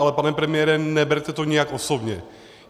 Ale pane premiére, neberte to nijak osobně.